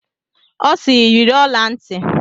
Ọ siiri, yiri ọla ntị!